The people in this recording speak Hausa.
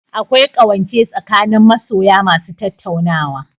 Akwai ƙawance tsakanin masoya ma su tattaunawa